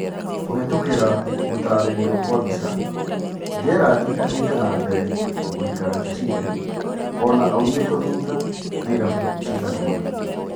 (Kũhetũkĩra) Gũtarĩrio kwa mbica, Gerand athiĩte nambere gũikara Chasile ona aumĩtwo thutha nĩ irabu ciganaona.